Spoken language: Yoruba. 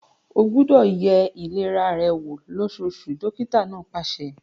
O gbúdọ̀ ye ìlera rẹ wò lósóosù! dókítà náà pàṣẹ.